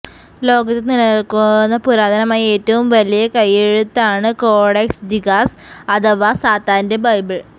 ലോകത്ത് നിലനില്ക്കുന്ന പുരാതനമായ ഏറ്റവും വലിയ കൈയ്യെഴുത്താണ് കോഡെക്സ് ജിഗാസ് അഥവാ സാത്താന്റെ ബൈബിള്